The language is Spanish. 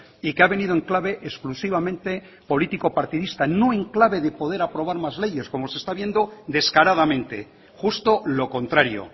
y que ha venido en clave exclusivamente político partidista no en clave de poder aprobar más leyes como se está viendo descaradamente justo lo contrario